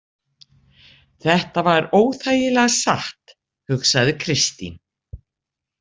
Þetta var óþægilega satt, hugsaði Kristín.